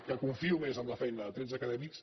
que confio més en la feina de tretze acadèmics